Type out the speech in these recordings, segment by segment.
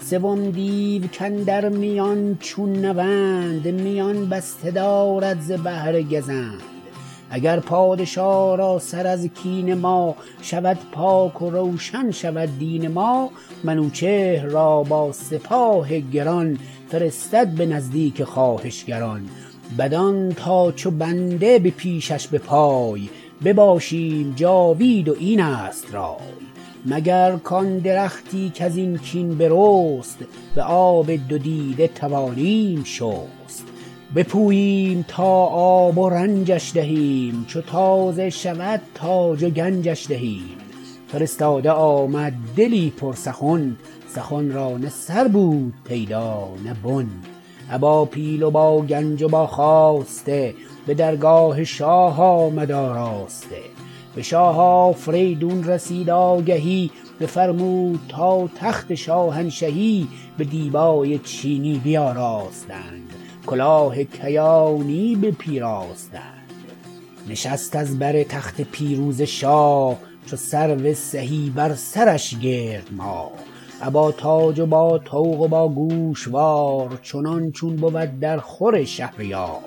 سوم دیو کاندر میان چون نوند میان بسته دارد ز بهر گزند اگر پادشا را سر از کین ما شود پاک و روشن شود دین ما منوچهر را با سپاه گران فرستد به نزدیک خواهشگران بدان تا چو بنده به پیشش به پای بباشیم جاوید و اینست رای مگر کان درختی کزین کین برست به آب دو دیده توانیم شست بپوییم تا آب و رنجش دهیم چو تازه شود تاج و گنجش دهیم فرستاده آمد دلی پر سخن سخن را نه سر بود پیدا نه بن ابا پیل و با گنج و با خواسته به درگاه شاه آمد آراسته به شاه آفریدون رسید آگهی بفرمود تا تخت شاهنشهی به دیبای چینی بیاراستند کلاه کیانی بپیراستند نشست از بر تخت پیروزه شاه چو سرو سهی بر سرش گرد ماه ابا تاج و با طوق و باگوشوار چنان چون بود در خور شهریار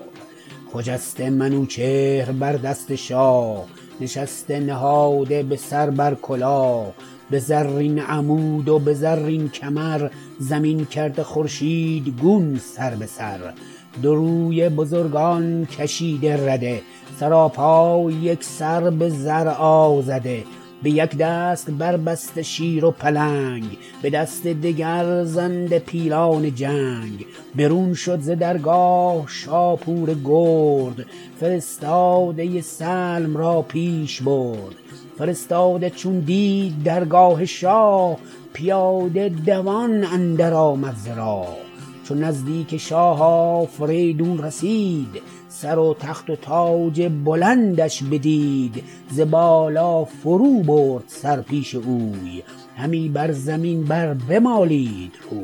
خجسته منوچهر بر دست شاه نشسته نهاده به سر بر کلاه به زرین عمود و به زرین کمر زمین کرده خورشیدگون سر به سر دو رویه بزرگان کشیده رده سراپای یکسر به زر آژده به یک دست بربسته شیر و پلنگ به دست دگر ژنده پیلان جنگ برون شد ز درگاه شاپور گرد فرستاده سلم را پیش برد فرستاده چون دید درگاه شاه پیاده دوان اندر آمد ز راه چو نزدیک شاه آفریدون رسید سر و تخت و تاج بلندش بدید ز بالا فرو برد سر پیش اوی همی بر زمین بر بمالید روی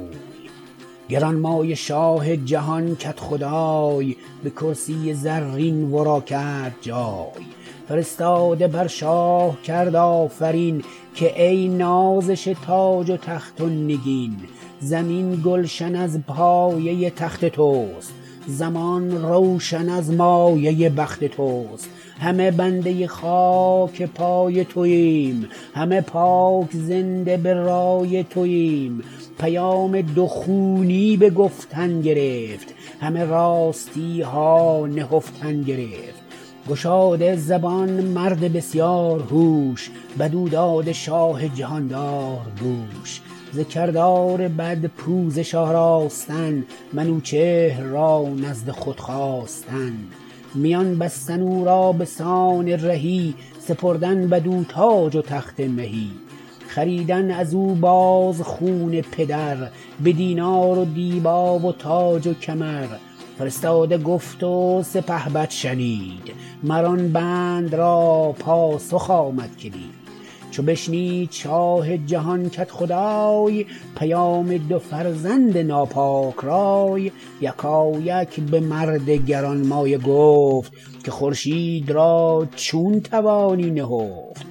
گرانمایه شاه جهان کدخدای به کرسی زرین ورا کرد جای فرستاده بر شاه کرد آفرین که ای نازش تاج و تخت و نگین زمین گلشن از پایه تخت تست زمان روشن از مایه بخت تست همه بنده خاک پای توایم همه پاک زنده به رای توایم پیام دو خونی به گفتن گرفت همه راستیها نهفتن گرفت گشاده زبان مرد بسیار هوش بدو داده شاه جهاندار گوش ز کردار بد پوزش آراستن منوچهر را نزد خود خواستن میان بستن او را بسان رهی سپردن بدو تاج و تخت مهی خریدن ازو باز خون پدر بدینار و دیبا و تاج و کمر فرستاده گفت و سپهبد شنید مر آن بند را پاسخ آمد کلید چو بشنید شاه جهان کدخدای پیام دو فرزند ناپاک رای یکایک بمرد گرانمایه گفت که خورشید را چون توانی نهفت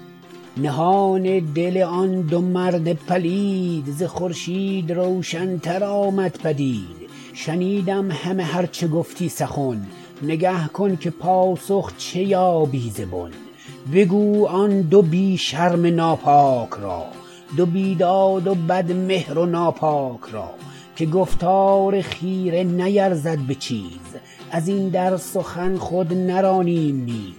نهان دل آن دو مرد پلید ز خورشید روشن تر آمد پدید شنیدم همه هر چه گفتی سخن نگه کن که پاسخ چه یابی ز بن بگو آن دو بی شرم ناپاک را دو بیداد و بد مهر و ناباک را که گفتار خیره نیرزد به چیز ازین در سخن خود نرانیم نیز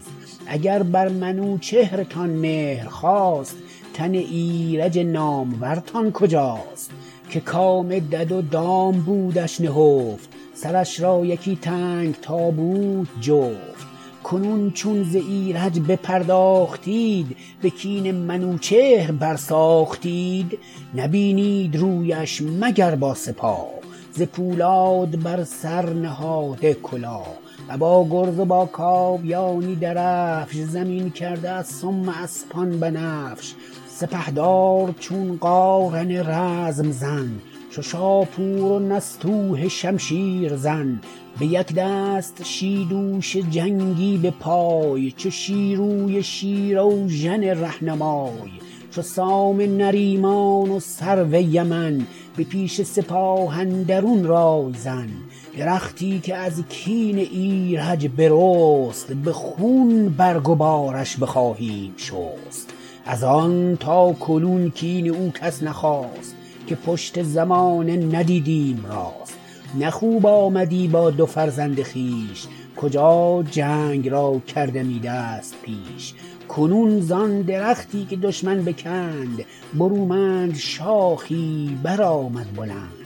اگر بر منوچهرتان مهر خاست تن ایرج نامورتان کجاست که کام دد و دام بودش نهفت سرش را یکی تنگ تابوت جفت کنون چون ز ایرج بپرداختید به کین منوچهر بر ساختید نبینید رویش مگر با سپاه ز پولاد بر سر نهاده کلاه ابا گرز و با کاویانی درفش زمین کرده از سم اسپان بنفش سپهدار چون قارن رزم زن چو شاپور و نستوه شمشیر زن به یک دست شیدوش جنگی به پای چو شیروی شیراوژن رهنمای چو سام نریمان و سرو یمن به پیش سپاه اندرون رای زن درختی که از کین ایرج برست به خون برگ و بارش بخواهیم شست از آن تاکنون کین او کس نخواست که پشت زمانه ندیدیم راست نه خوب آمدی با دو فرزند خویش کجا جنگ را کردمی دست پیش کنون زان درختی که دشمن بکند برومند شاخی برآمد بلند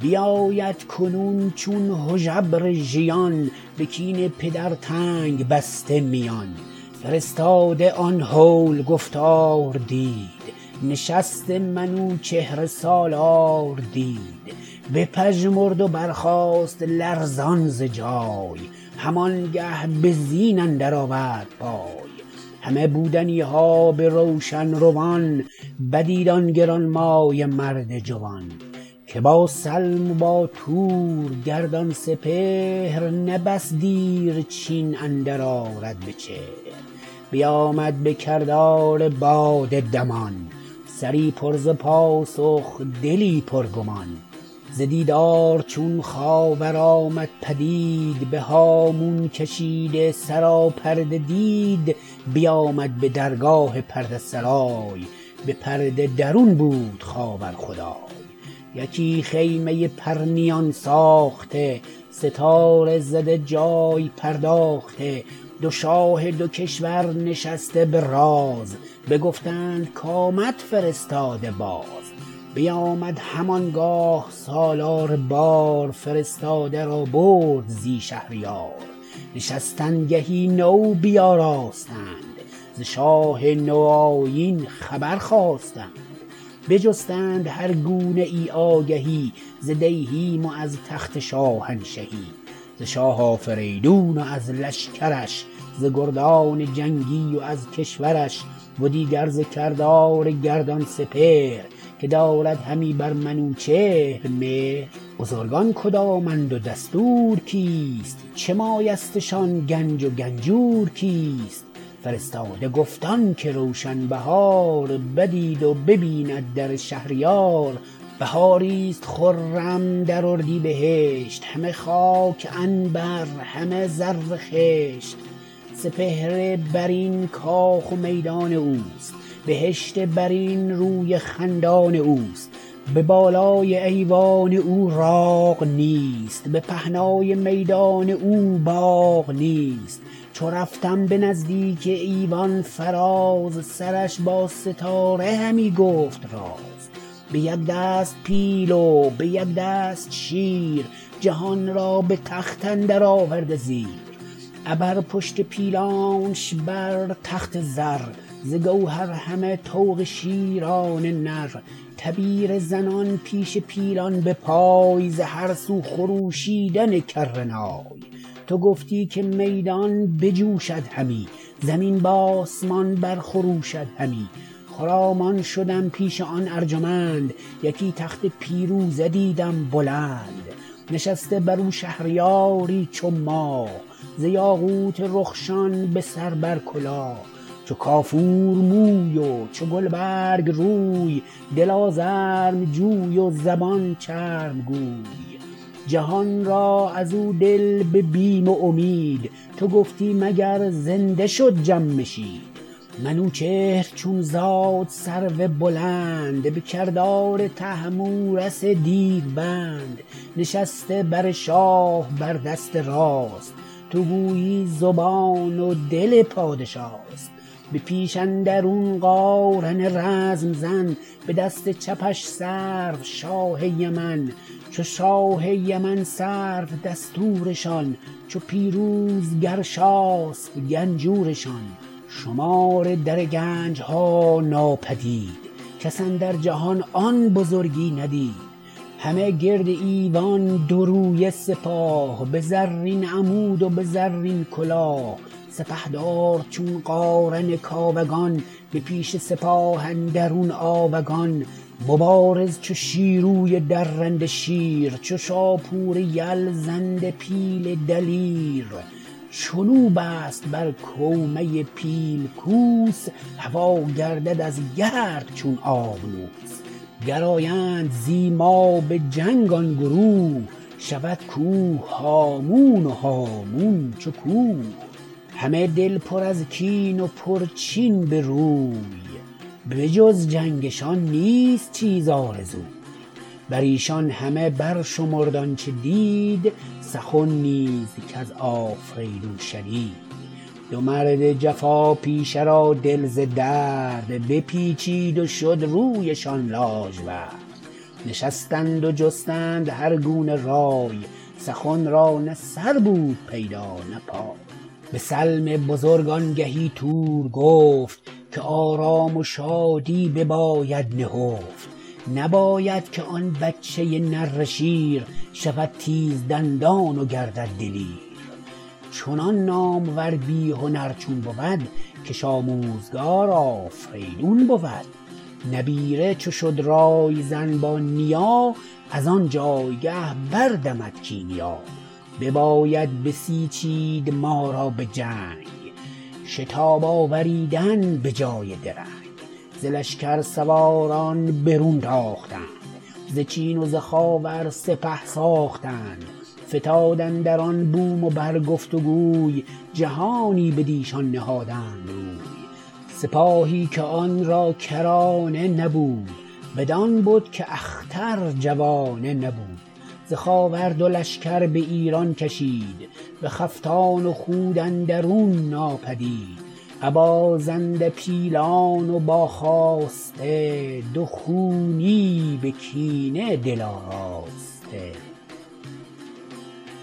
بیاید کنون چون هژبر ژیان به کین پدر تنگ بسته میان فرستاده آن هول گفتار دید نشست منوچهر سالار دید بپژمرد و برخاست لرزان ز جای هم آنگه به زین اندر آورد پای همه بودنیها به روشن روان بدید آن گرانمایه مرد جوان که با سلم و با تور گردان سپهر نه بس دیر چین اندر آرد بچهر بیامد به کردار باد دمان سری پر ز پاسخ دلی پرگمان ز دیدار چون خاور آمد پدید به هامون کشیده سراپرده دید بیامد به درگاه پرده سرای به پرده درون بود خاور خدای یکی خیمه پرنیان ساخته ستاره زده جای پرداخته دو شاه دو کشور نشسته به راز بگفتند کامد فرستاده باز بیامد هم آنگاه سالار بار فرستاده را برد زی شهریار نشستنگهی نو بیاراستند ز شاه نو آیین خبر خواستند بجستند هر گونه ای آگهی ز دیهیم و از تخت شاهنشهی ز شاه آفریدون و از لشکرش ز گردان جنگی و از کشورش و دیگر ز کردار گردان سپهر که دارد همی بر منوچهر مهر بزرگان کدامند و دستور کیست چه مایستشان گنج و گنجور کیست فرستاده گفت آنکه روشن بهار بدید و ببیند در شهریار بهاری ست خرم در اردیبهشت همه خاک عنبر همه زر خشت سپهر برین کاخ و میدان اوست بهشت برین روی خندان اوست به بالای ایوان او راغ نیست به پهنای میدان او باغ نیست چو رفتم به نزدیک ایوان فراز سرش با ستاره همی گفت راز به یک دست پیل و به یک دست شیر جهان را به تخت اندر آورده زیر ابر پشت پیلانش بر تخت زر ز گوهر همه طوق شیران نر تبیره زنان پیش پیلان به پای ز هر سو خروشیدن کره نای تو گفتی که میدان بجوشد همی زمین به آسمان بر خروشد همی خرامان شدم پیش آن ارجمند یکی تخت پیروزه دیدم بلند نشسته برو شهریاری چو ماه ز یاقوت رخشان به سر بر کلاه چو کافور موی و چو گلبرگ روی دل آزرم جوی و زبان چرب گوی جهان را ازو دل به بیم و امید تو گفتی مگر زنده شد جمشید منوچهر چون زاد سرو بلند به کردار طهمورث دیوبند نشسته بر شاه بر دست راست تو گویی زبان و دل پادشاست به پیش اندرون قارن رزم زن به دست چپش سرو شاه یمن چو شاه یمن سرو دستورشان چو پیروز گرشاسپ گنجورشان شمار در گنجها ناپدید کس اندر جهان آن بزرگی ندید همه گرد ایوان دو رویه سپاه به زرین عمود و به زرین کلاه سپهدار چون قارن کاوگان به پیش سپاه اندرون آوگان مبارز چو شیروی درنده شیر چو شاپور یل ژنده پیل دلیر چنو بست بر کوهه پیل کوس هوا گردد از گرد چون آبنوس گر آیند زی ما به جنگ آن گروه شود کوه هامون و هامون کوه همه دل پر از کین و پرچین بروی به جز جنگشان نیست چیز آرزوی بریشان همه برشمرد آنچه دید سخن نیز کز آفریدون شنید دو مرد جفا پیشه را دل ز درد بپیچید و شد رویشان لاژورد نشستند و جستند هرگونه رای سخن را نه سر بود پیدا نه پای به سلم بزرگ آنگهی تور گفت که آرام و شادی بباید نهفت نباید که آن بچه نره شیر شود تیزدندان و گردد دلیر چنان نامور بی هنر چون بود کش آموزگار آفریدون بود نبیره چو شد رای زن با نیا ازان جایگه بردمد کیمیا بباید بسیچید ما را بجنگ شتاب آوریدن به جای درنگ ز لشکر سواران برون تاختند ز چین و ز خاور سپه ساختند فتاد اندران بوم و بر گفت گوی جهانی بدیشان نهادند روی سپاهی که آن را کرانه نبود بدان بد که اختر جوانه نبود ز خاور دو لشکر به ایران کشید بخفتان و خود اندرون ناپدید ابا ژنده پیلان و با خواسته دو خونی به کینه دل آراسته